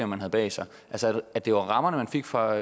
man havde bag sig at det var rammerne man fik fra